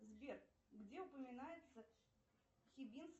сбер где упоминается